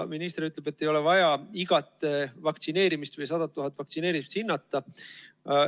Minister ütleb, et ei ole vaja igat vaktsineerimisjuhtumit või 100 000 vaktsineeritut hinnata.